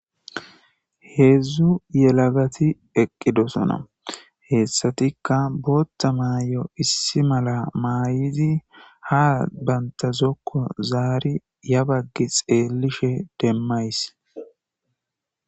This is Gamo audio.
Heedzdzu yelaggati eqqidosona heessatikka bootta maay'o issi malla maayidi ha banta zokko zaari ya baggi xeellishe demmays